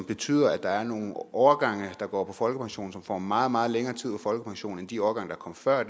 betyder at der er nogle årgange der går på folkepension som får meget meget længere tid på folkepension end de årgange der kom før